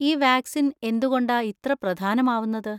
ഈ വാക്‌സിൻ എന്തുകൊണ്ടാ ഇത്ര പ്രധാനമാവുന്നത്?